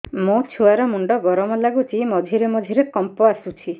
ମୋ ଛୁଆ ର ମୁଣ୍ଡ ଗରମ ଲାଗୁଚି ମଝିରେ ମଝିରେ କମ୍ପ ଆସୁଛି